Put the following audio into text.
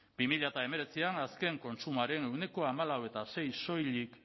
bi mila hemeretzian azken kontsumoaren ehuneko hamalau koma sei soilik